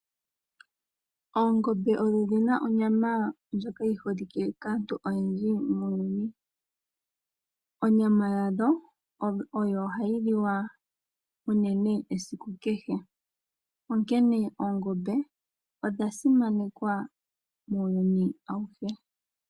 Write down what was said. Oongombe odhi na onyama ndjoka yi holike kaantu oyendji muuyuni. Onyama yadho, o oyo hayi liwa unene esiku kehe. Onkene oongombe, odha simanekwa muuyuni awuhe.